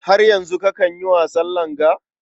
Har yanzu kakan yi wasan langa?